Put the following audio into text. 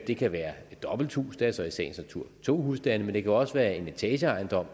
det kan være et dobbelthus er så i sagens natur to husstande men det kan også være en etageejendom